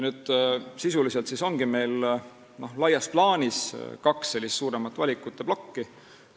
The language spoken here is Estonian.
Sisuliselt ongi meil laias plaanis kaks suuremat valikute plokki.